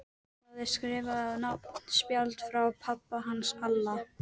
Það er skrifað á nafnspjald frá pabba hans Alla.